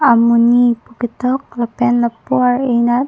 amoni pu ketok lapen lapu ar eh nat--